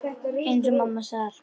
Eins og mamma sagði alltaf.